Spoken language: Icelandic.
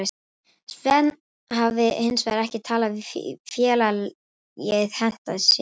Sven hafi hinsvegar ekki talið félagið henta sér.